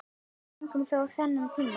Við fengum þó þennan tíma.